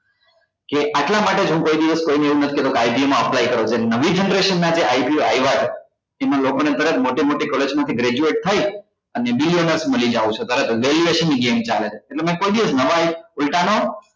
કે આટલા માટે જ હું કોઈ દિવસ કોઈ ને એવું નથ કહેતો કે માં apply કરો જે નવી generation ના જે ITA આવ્યા છે એમાં લોકો ને તરત મોટી મોટી college માંથી graduate થઇ અને લઇ જવું છે તરત જ graduation ની game ચાલે છે એટલે મેં કોઈ દિવસ નવા ને ઉલટા નો